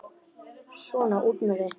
Svona, út með þig!